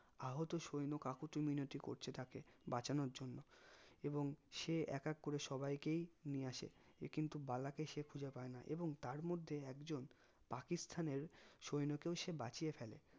আহত সৈন্য কাকতি মিনতি করছে তাকে বাঁচানোর জন্য এবং সে এক এক করে সবাই কেই নিয়ে আসে এ কিন্তু বালা কে সে খুঁজে পাই না এবং তার মধ্যে একজন পাকিস্তানের সৈন্যকেও সে বাঁচিয়ে ফেলে